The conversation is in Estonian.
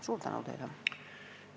Suur tänu teile!